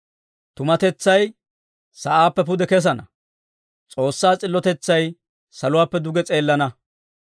Tumatetsay sa'aappe pude kesana; S'oossaa s'illotetsay saluwaappe duge s'eelana.